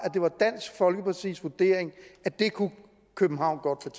det var dansk folkepartis vurdering at det kunne københavn godt